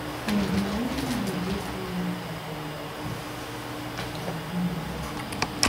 Since na only you wey clean dis compound like dis I go give you gift